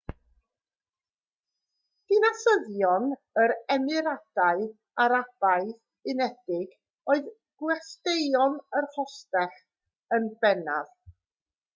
dinasyddion yr emiradau arabaidd unedig oedd gwesteion yr hostel yn bennaf